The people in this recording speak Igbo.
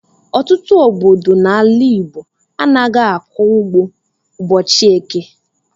Ọtụtụ obodo n'ala Igbo anaghị akọ ugbo ụbọchị eke.